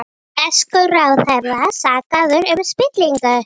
Þær reyna þannig að stela ímynd einhvers sem þær eru ekki.